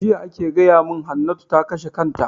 Jiya ake gaya mun Hannatu ta kashe kanta